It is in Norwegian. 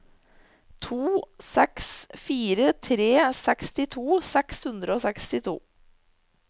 to seks fire tre sekstito seks hundre og sekstito